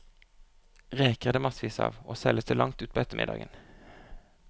Reker er det massevis av, og selges til langt utpå ettermiddagen.